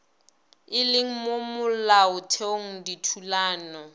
e leng mo molaotheong dithulano